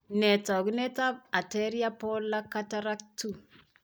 Nee taakunetaab Anterior polar cataract 2?